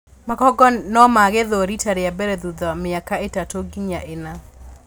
Makongo nomagethwo rita rĩambere thutha miaka ĩtatũ nginya ĩna.